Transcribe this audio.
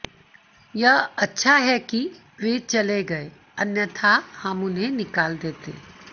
यह अच्छा है कि वे चले गए अन्यथा हम उन्हें निकाल देते